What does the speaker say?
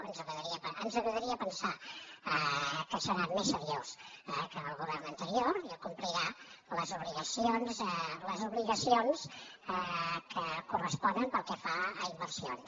ens agradaria pensar que serà més seriós que el govern anterior i complirà les obligacions que corresponen pel que fa a inversions